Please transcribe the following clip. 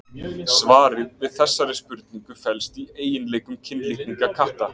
Svarið við þessari spurningu felst í eiginleikum kynlitninga katta.